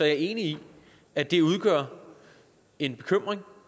jeg enig i at det udgør en bekymring